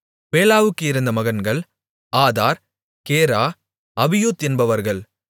பேலாவுக்கு இருந்த மகன்கள் Addar Gera Abihud என்பவர்கள்